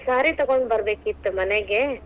Saree ತಗೊಂಡ ಬರಬೇಕೀತ್ತ್ ಮನೆಗೆ.